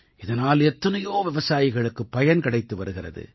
இதனால் எத்தனையோ விவசாயிகளுக்கு பயன் கிடைத்து வருகிறது